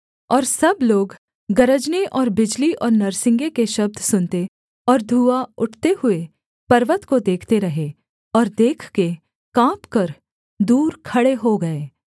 और सब लोग गरजने और बिजली और नरसिंगे के शब्द सुनते और धुआँ उठते हुए पर्वत को देखते रहे और देखके काँपकर दूर खड़े हो गए